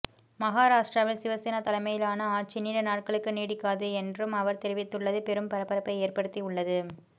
மகாராஷ்டிராவில் சிவசேனா தலைமையிலான ஆட்சி நீண்ட நாட்களுக்கு நீடிக்காது என்றும் அவர் தெரிவித்துள்ளது பெரும் பரபரப்பை ஏற்படுத்தி உள்ளது